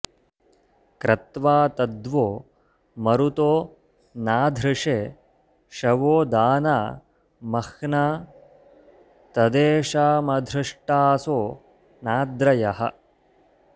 क्रत्वा तद्वो मरुतो नाधृषे शवो दाना मह्ना तदेषामधृष्टासो नाद्रयः